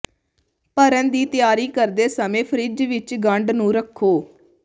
ਭਰਨ ਦੀ ਤਿਆਰੀ ਕਰਦੇ ਸਮੇਂ ਫਰਿੱਜ ਵਿੱਚ ਗੰਢ ਨੂੰ ਰੱਖੋ